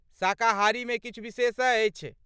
शाकाहारीमे किछु विशेष अछि?